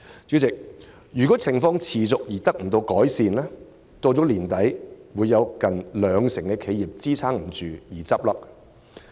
主席，如情況持續，未見改善，香港將有近兩成企業支撐不住，在今年年底倒閉。